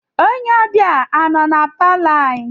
Onye ọbịa a nọ na palọ anyị?